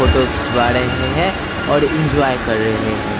Photo खिंचवा रहे हैं और इंजॉय कर रहे हैं।